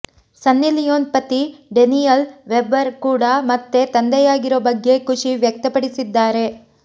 ಸನ್ನಿ Leone ಪತಿ Daniel Weber ಕೂಡ ಮತ್ತೆ ತಂದೆಯಾಗಿರೋ ಬಗ್ಗೆ ಖುಷಿ ವ್ಯಕ್ತಪಡಿಸಿದ್ದಾರೆ